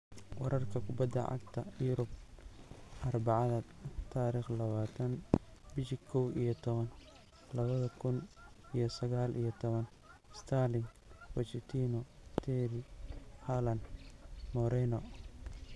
"Wararka Kubadda Cagta Yurub Arbacada tarikh lawatan bishi kow iyo towan lawadha kun iyo saqal iyo tawan: Sterling, Pochettino, Terry, Haaland, Moreno"